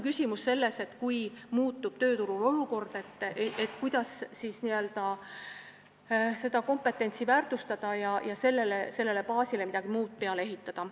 Küsimus on selles, et kui tööturul olukord muutub, kuidas siis seda kompetentsi väärtustada ja sellele baasile midagi muud peale ehitada.